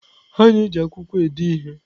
A na-eji akwụkwọ ede ihe.